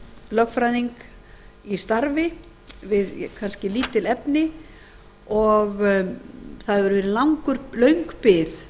lögfræðing í starfi við kannski lítil efni og það hefur verið löng bið